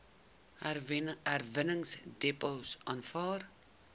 herwinningsdepots aanvaar